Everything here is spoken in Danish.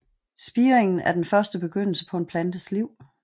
Spiringen er den første begyndelse på en plantes liv